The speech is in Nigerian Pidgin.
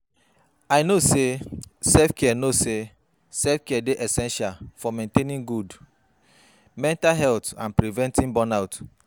I know say self-care know say self-care dey essential for maintaining good mental health and preventing burnout.